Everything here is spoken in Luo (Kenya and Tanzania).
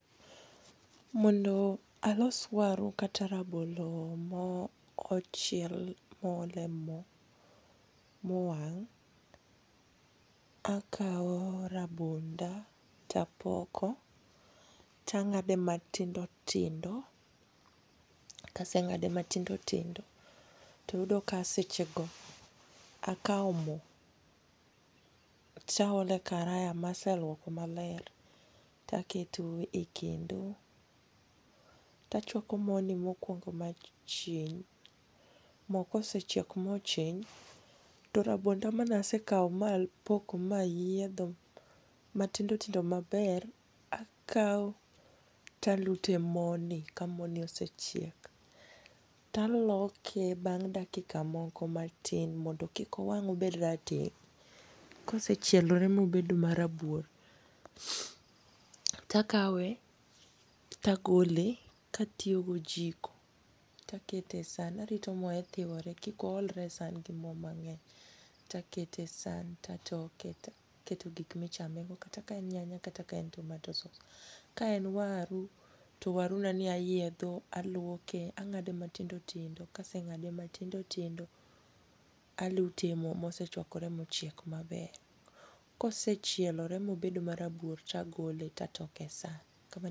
Mondo alos waru kata rabolo mo ochiel mo ole mo mowang' akaw rabonda tapoko tang'ade matindo tindo. Kaseng'ade matindo tindo to, to yudo kasechako akaw mo taole karaya maseluoko maler taketo e kendo. Tachwako mo ni mokwongo machwin. Mo kosechiek mochin to rabonda mane asekaw mapoko mayiedho matindo tindo maber akaw talute moni ka moni osechiek. Taloke bang' dakika moko matin mondo kik owang' obed rateng'. Kosechielore mobedo ma rabuor takawe togole katiyo gojiko taketo e san. Arito moye thiwore kik o olre e san gi mo mang'eny. Takete e san, tatoke take taketo gik michame go kata ka en nyanya kata ka en tomato sauce. Ka en waru to waru nani ayiedho aluoke ang'ade matindo tindo. Kaseng'ade matindo tindo alute mo mosechwakore mochiek maber. Kosechiolore mobedo marabuor tagole tatoke e san.